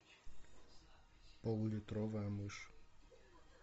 полулитровая мышь